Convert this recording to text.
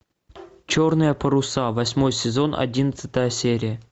черные паруса восьмой сезон одиннадцатая серия